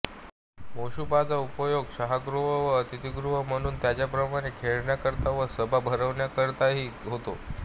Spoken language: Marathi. मोशुपचा उपयोग शय्यागृह व अतिथिगृह म्हणून त्याचप्रमाणे खेळण्याकरिता व सभा भरविण्याकरिताही होतो